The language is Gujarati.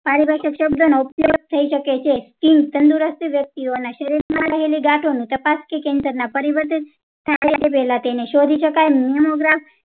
પારિભાષિક શબ્દો નો ઉપયોગ થાય શકે છેકેમ તંદુરસ્તી વ્યક્તિઓના શરીર માં રહેલી ગાંઠ ને તપાસ થી કેન્દ્ર ના પરિવર્તિત પેલા તેને શોધી શકાય